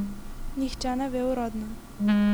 Nihče ne ve uradno.